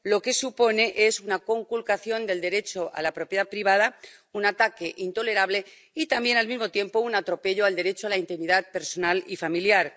Lo que supone es una conculcación del derecho a la propiedad privada, un ataque intolerable y también, al mismo tiempo, un atropello al derecho a la intimidad personal y familiar.